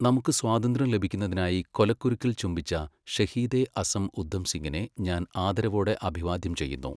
നമുക്ക് സ്വാതന്ത്ര്യം ലഭിക്കുന്നതിനായി കൊലക്കുരുക്കിൽ ചുംബിച്ച ഷഹീദെ അസം ഉദ്ധം സിങ്ങിനെ ഞാൻ ആദരവോടെ അഭിവാദ്യം ചെയ്യുന്നു.